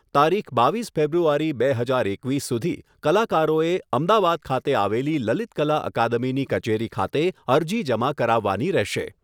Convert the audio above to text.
તારીખ બાવીસ ફેબ્રુઆરી બે હજાર એકવીસ સુધી કલાકારોએ અમદાવાદ ખાતે આવેલી લલિતકલા અકાદમીની કચેરી ખાતે અરજી જમા કરાવવાની રહેશે.